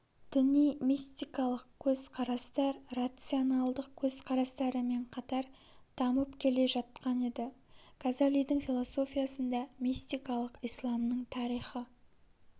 діни мистиқалық көзқарастар рационалдық көзқарастарымен қатар дамып келе жаткан еді газалидің философиясында мистикалық исламның тарихы